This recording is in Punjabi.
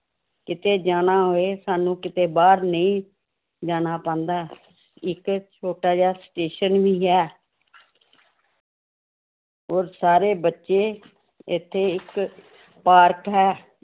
ਕਿਤੇ ਜਾਣਾ ਹੋਵੇ ਸਾਨੂੰ ਕਿਤੇ ਬਾਹਰ ਨਹੀਂ ਜਾਣਾ ਪੈਂਦਾ ਹੈ l ਇੱਕ ਛੋਟਾ ਜਿਹਾ station ਵੀ ਹੈ ਔਰ ਸਾਰੇ ਬੱਚੇ ਇੱਥੇ ਇੱਕ ਪਾਰਕ ਹੈ